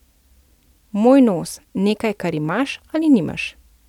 Moj nos, nekaj, kar imaš ali nimaš.